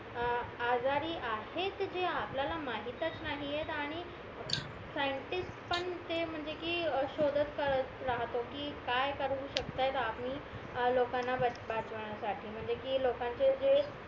आजारी आहेत जे आपल्याला माहीतच नाहीयेत आणि सायंटिस्ट पण ते म्हंणजे कि शोधत करत राहतो कि काय करू शकतायत आम्ही लोकांना वाचवण्या साठी म्हणजे कि लोकांचे जे